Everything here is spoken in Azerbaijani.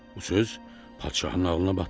Bu söz padşahın ağlına batdı.